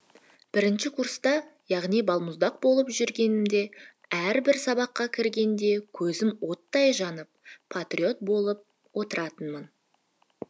бірінші курста яғни балмұздақ болып жүргенімде әрбір сабаққа кіргенде көзім оттай жанып патриот болып отыратынмын